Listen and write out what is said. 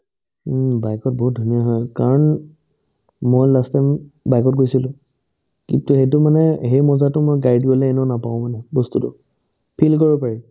উম্, bike ত বহুত ধুনীয়া হয় কাৰণ মই last time bike ত গৈছিলো কিন্তু সেইটো মানে সেই মজাটো মই গাড়ীত গ'লে এনেও নাপাও গৈ ন বস্তুটো feel কৰিব পাৰি